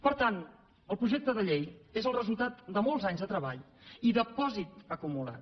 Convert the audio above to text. per tant el projecte de llei és el resultat de molts anys de treball i de pòsit acumulat